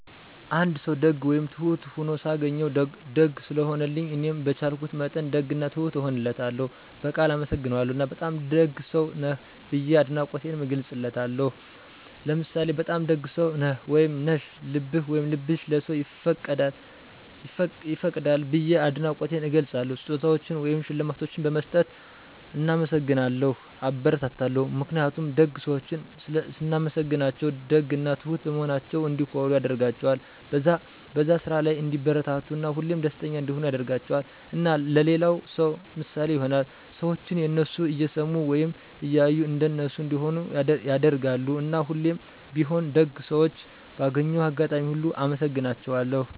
አንድ ሰዉ ደግ ወይም ትሁት ሁኖ ሳገኘዉ፤ ደግ ስለሆነልኝ እኔም በቻልኩት መጠን ደግ እና ትሁት እሆንለታለሁ፣ በቃል አመሰግነዋለሁ እና በጣም ደግ ሰዉ ነህ ብዬ አድናቆቴንም እገልፅለታለሁ። ለምሳሌ "በጣም ደግ ሰዉ ነህ/ሽ፤ ልብህ/ሽ ለሰዉ ይፈቅዳል።" ብየ አድናቆቴን እገልፃለሁ። ስጦታዎችን ወይም ሽልማቶችን በመስጠት እናመሰግናለሁ (አበረታታለሁ) ። ምክንያቱም ደግ ሰዎችን ስናመሰግናቸዉ ደግ እና ትሁት በመሆናቸዉ እንዲኮሩ ያደርጋቸዋል፣ በዛ ስራ ላይ እንዲበረታቱ እና ሁሌም ደስተኛ እንዲሆኑ ያደርጋቸዋል። እና ለሌላ ሰዉ ምሳሌ ይሆናሉ። ሰዎችም የነሱን እየሰሙ ወይም እያዩ እንደነሱ እንዲሆኑ (ያደርጋሉ)። እና ሁሌም ቢሆን ደግ ሰዎችን ባገኘሁት አጋጣሚ ሁሉ አመሰግናቸዋለሁ።